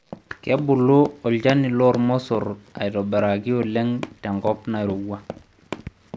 Kebulu olchani loolmosorr aitobiraki oleng' tenkop nairowua.